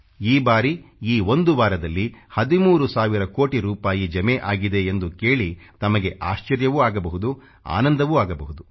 ಈ ಬಾರಿ ಈ ಒಂದು ವಾರದಲ್ಲಿ 13 ಸಾವಿರ ಕೋಟಿ ರೂಪಾಯಿ ಜಮೆ ಆಗಿದೆ ಎಂದು ಕೇಳಿ ತಮಗೆ ಆಶ್ಚರ್ಯವೂ ಆಗಬಹುದು ಆನಂದವೂ ಆಗಬಹುದು